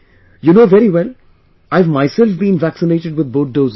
You know very well...I've myself been vaccinated with both doses